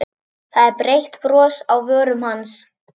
Það er breitt bros á vörum hans.